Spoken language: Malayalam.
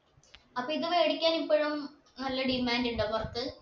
അപ്പൊ ഇത് വേടിക്കാൻ ഇപ്പോഴും നല്ല demand ഉണ്ടോ പൊറത്ത്‌